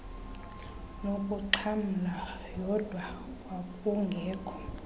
nokuxhamla yodwa kwakungekho